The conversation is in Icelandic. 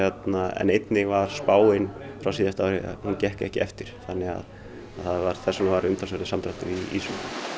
en einnig var spáin frá síðasta ári hún gekk ekki eftir það var þess vegna umtalsverður samdráttur í ýsu